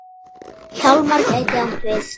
Hjálmar gæti átt við